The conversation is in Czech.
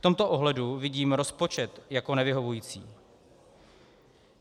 V tomto ohledu vidím rozpočet jako nevyhovující.